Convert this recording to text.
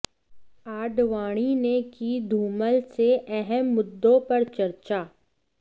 आडवाणी ने की धूमल से अहम मुद्दों पर चर्चा